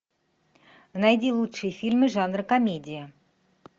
найди лучшие фильмы жанра комедия